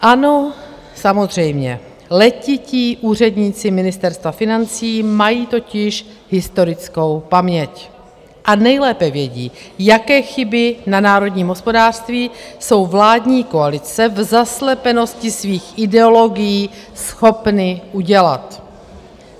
Ano, samozřejmě, letití úředníci Ministerstva financí mají totiž historickou paměť, a nejlépe vědí, jaké chyby na národním hospodářství jsou vládní koalice v zaslepenosti svých ideologií schopny udělat.